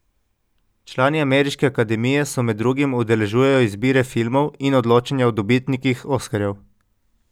Člani ameriške akademije se med drugim udeležujejo izbire filmov in odločanja o dobitnikih oskarjev.